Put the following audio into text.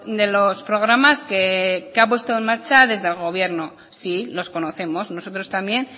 de los programas que ha puesto en marcha desde el gobierno sí los conocemos nosotros también